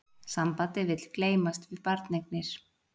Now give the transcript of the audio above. Sambandið vill gleymast við barneignir